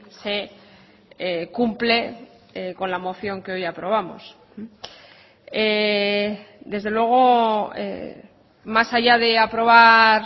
se cumple con la moción que hoy aprobamos desde luego más allá de aprobar